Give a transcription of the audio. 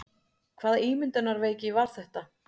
Hvaða ímyndunarveiki var þetta?